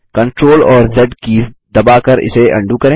CTRL और Z keys दबाकर इसे अंडू करें